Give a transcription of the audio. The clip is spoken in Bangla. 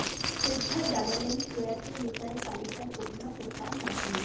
শ্রদ্ধা জানালেন প্রয়াত নেতার পালিতা কন্যা ও তাঁর নাতনি